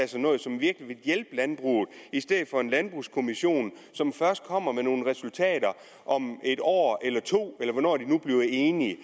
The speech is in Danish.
sig noget som virkelig vil hjælpe landbruget i stedet for en landbrugskommission som først kommer med nogle resultater om et år eller to eller hvornår de nu bliver enige